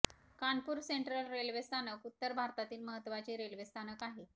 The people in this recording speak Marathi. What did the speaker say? कानपूर सेंट्रल रेल्वे स्थानक उत्तर भारतातील महत्त्वाचे रेल्वे स्थानक आहे